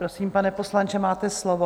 Prosím, pane poslanče, máte slovo.